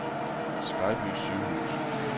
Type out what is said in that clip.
Skejby Sygehus